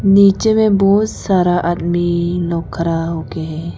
नीचे में बहुत सारा आदमी लोग खड़ा होके है।